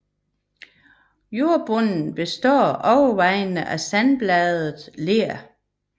Jordbunden består overvejende af sandblandet ler